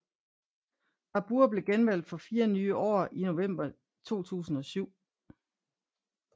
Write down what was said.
Barbour blev genvalgt for fire nye år i november 2007